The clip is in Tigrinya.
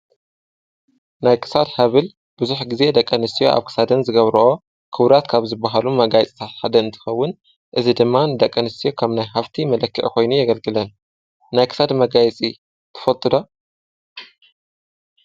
ናይ ክሳድ ሃብል ብዙሕ ግዜ ደቂ ኣንስትዮ ኣብ ክሳደን ዝገብርኦ ክቡራት ካብ ዝብሃሉ መጋየፅታት ሓደ እንትኸውን እዚ ድማ ንደቂ ኣንስትዮ ከም ናይ ሃፍቲ መለክዒ ኮይኑ የገልግለን፡፡ ናይ ክሳድ መጋየፂ ትፈልጡ ዶ?